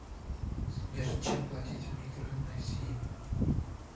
сбер чем платить в микронезии